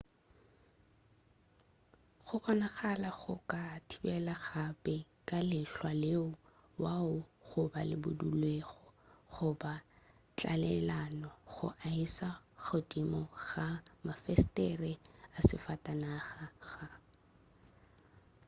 go bonagala go ka thibela gape ke lehlwa leo le wago goba le budulelwago goba tlalelano go aesa godimo ga mafestere a sefatanaga.ga